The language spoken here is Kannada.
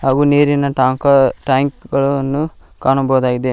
ಹಾಗು ನೀರಿನ ಟಾಂಕ ಟ್ಯಾಂಕ್ ಗಳನ್ನು ಕಾಣಬಹುದಾಗಿದೆ.